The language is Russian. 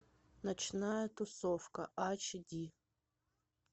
ночная тусовка ач ди